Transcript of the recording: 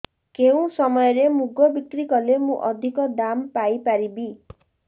କେଉଁ ସମୟରେ ମୁଗ ବିକ୍ରି କଲେ ମୁଁ ଅଧିକ ଦାମ୍ ପାଇ ପାରିବି